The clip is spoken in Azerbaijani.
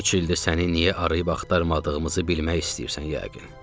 13 ildir səni niyə arayıb axtarmadığımızı bilmək istəyirsən yəqin.